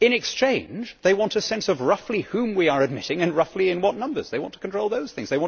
In exchange, they want a sense of roughly whom we are admitting and in roughly what numbers. They want to control those things.